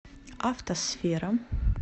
автосфера